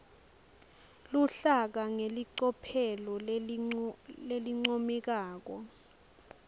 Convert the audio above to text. luhlaka ngelicophelo lelincomekako